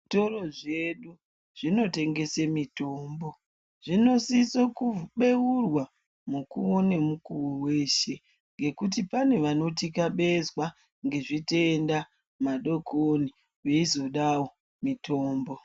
Zvitoro zvedu, zvitotengese mitombo, zvinosise kubeurwa, mukuwo nemukuwo weshe, ngekuti pane vanothikabezwa ngezvitenda madookoni veizodawo mitombo.